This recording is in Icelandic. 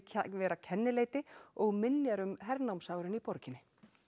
vera kennileiti og minjar um hernámsárin í borginni